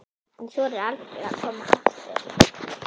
Hann þorir aldrei að koma aftur.